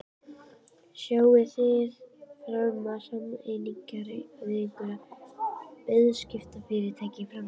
Sjáið þið fram á sameiningar við einhver fjarskiptafyrirtæki í framtíðinni?